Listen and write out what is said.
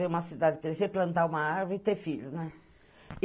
Vi uma cidade crescer, plantar uma árvore e ter filho, né?